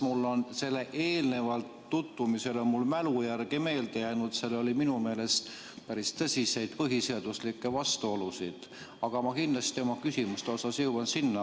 Mul on eelnevast tutvumisest meelde jäänud, et seal oli minu meelest päris tõsiseid põhiseaduslikke vastuolusid, ma kindlasti oma küsimustega jõuan nendeni.